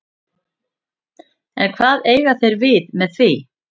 En hvað eiga þeir við með því?